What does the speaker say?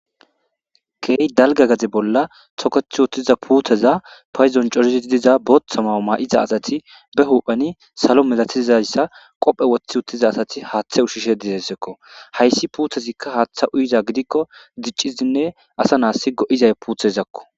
key dalga gaze bolla tokethi uttiza puutheza payizon corizeti diza booththama ma7iza asati be hupheni salo metatizayssa qophe woththi uttiza asati haaththe ushishe disessekko hayssi puuthezikka haaththa uyiza gidikko diccizinne asa naasi go7izay puuthezakko.